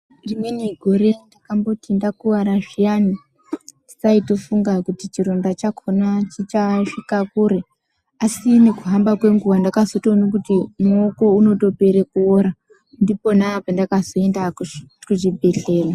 Rimweni gore ndakamboti ndakuwara zviyani ndisaitofunga kuti chironda chakhona chichasvika kure asi nekuhamba kwenguva ndakazotoona kuti urikuora, ndipona pendakazoende kuchibhedhlera.